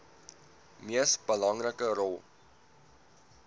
mees belangrike rol